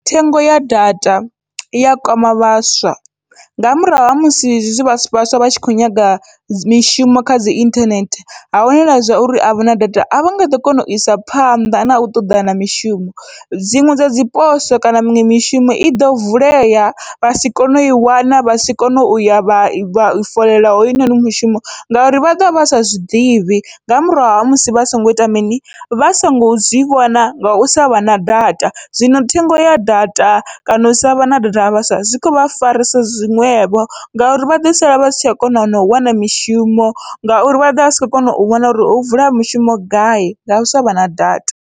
Thengo ya data iya kwama vhaswa, nga murahu ha musi zwivhaswa vhaswa vha tshi kho nyaga mishumo kha dzi inthanethe, ha wanala zwa uri avha na data avha nga ḓo kona uisa phanḓa nau ṱoḓana mishumo. Dziṅwe dzadzi poso kana miṅwe mishumo iḓo vulea vha si kone ui wana vha si kone uya vha i foḽeḽa hoyunoni mishumo, ngauri vha ḓovha vha sa zwiḓivhi nga murahu ha musi vha songo ita mini vha songo zwi vhona ngau savha na data. Zwino thengo ya data kana u savha na data ha vhaswa zwi kho vha farisa zwiṅwevho ngauri vha ḓo sala vha si tsha kona nau wana mishumo, ngauri vha ḓovha sa kho kona u vhona uri ho vula mishumo gai ngau savha na data.